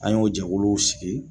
An y'o jɛkuluw sigi.